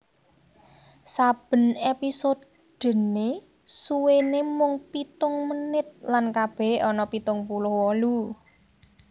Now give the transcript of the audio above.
Saben èpisodené suwéné mung pitung menit lan kabèhé ana pitung puluh wolu